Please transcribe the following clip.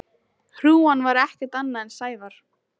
Hrúgan var ekkert annað en Sævar.